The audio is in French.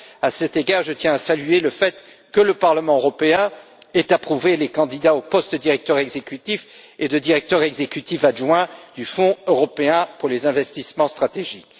À cet égard, je tiens à saluer le fait que le Parlement européen a approuvé les candidats aux postes de directeur exécutif et de directeur exécutif adjoint du Fonds européen pour les investissements stratégiques.